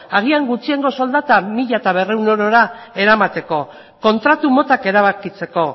agian gutxiengo soldata mila berrehun eurora eramateko kontratu motak erabakitzeko